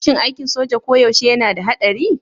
Shin aikin soja koyaushe yana da haɗari?